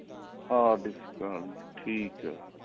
hard disk ਆਂ ਗਈ ਠੀਕ ਏ